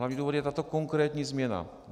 Hlavní důvod je tato konkrétní změna.